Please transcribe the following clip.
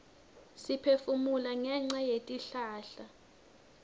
siphefumula ngenca yetihlahla